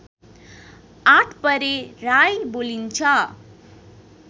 आठपरे राई बोलिन्छ